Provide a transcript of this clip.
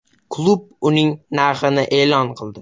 Klub uning narxini e’lon qildi.